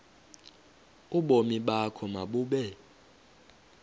ubomi bakho mabube